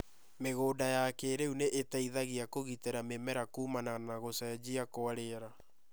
Mĩgũnda ya kĩĩrĩu nĩ ĩteithagia kũgitira mĩmera kumana na gũcenjia kwa rĩera